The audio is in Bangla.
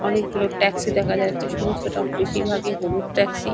অনেকগুলো ট্যাক্সি দেখা যাচ্ছে। সমস্ত রং বেশির ভাগই হলুদ ট্যাক্সি ।